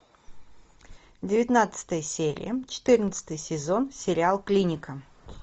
девятнадцатая серия четырнадцатый сезон сериал клиника